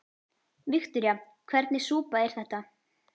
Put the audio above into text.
Viktoría: Hvernig súpa er þetta?